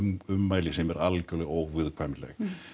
ummæli sem eru algjörlega óviðurkvæmileg